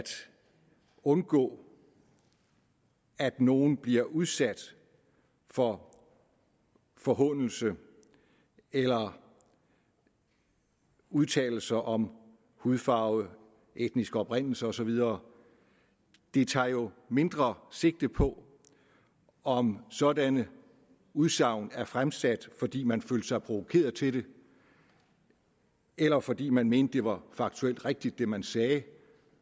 undgå at nogen bliver udsat for forhånelse eller udtalelser om hudfarve etnisk oprindelse og så videre den tager jo mindre sigte på om sådanne udsagn er fremsat fordi man følte sig provokeret til det eller fordi man mente at det var faktuelt rigtigt hvad man sagde